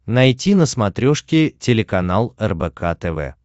найти на смотрешке телеканал рбк тв